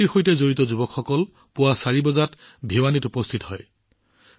এই সমিতিৰ সৈতে জড়িত যুৱকসকল ৰাতিপুৱা ৪ বজাত ভিৱানীত উপস্থিত হয়